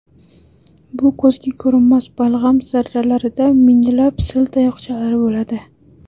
Bu ko‘zga ko‘rinmas balg‘am zarralarida minglab sil tayoqchalari bo‘ladi.